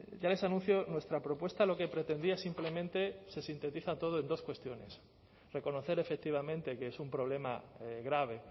ya les anuncio nuestra propuesta lo que pretendía simplemente se sintetiza todo en dos cuestiones reconocer efectivamente que es un problema grave